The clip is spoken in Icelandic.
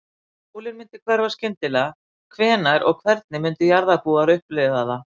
Ef sólin myndi hverfa skyndilega, hvenær og hvernig myndu jarðarbúar upplifa það?